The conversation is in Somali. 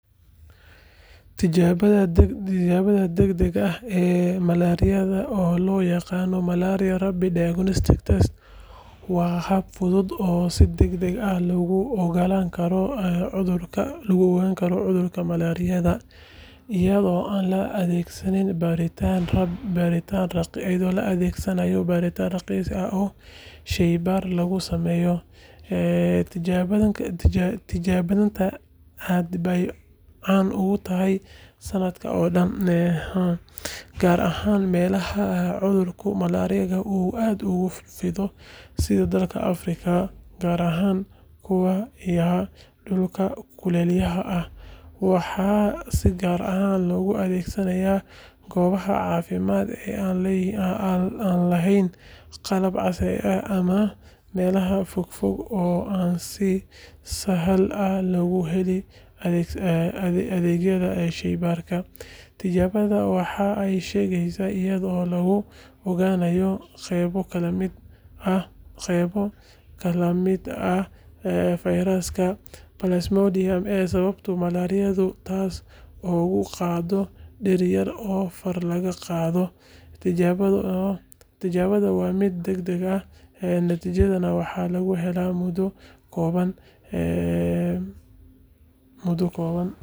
Tijaabada degdega ah ee malaariyada, oo loo yaqaan malaria rapid diagnostic test, waa hab fudud oo si degdeg ah lagu ogaan karo cudurka malaariyada iyadoo aan la adeegsan baaritaano raqiis ah oo shaybaar lagu sameeyo. Tijaabadan aad bay caan u tahay sannadka oo dhan, gaar ahaan meelaha cudurka malaariyada uu aad ugu fido sida dalalka Afrika, gaar ahaan kuwa ku yaalla dhulalka kulaylaha ah. Waxaa si gaar ah loogu adeegsadaa goobaha caafimaadka ee aan lahayn qalab casri ah ama meelaha fogfog ee aan si sahal ah loogu helin adeegyada shaybaarka. Tijaabada waxa ay shaqeyneysaa iyadoo lagu ogaanayo qaybo ka mid ah fayraska Plasmodium ee sababa malaariyada, taas oo lagu ogaado dhiig yar oo far laga qaado. Tijaabadu waa mid degdeg ah, natiijadana waxaa lagu helaa muddo kooban.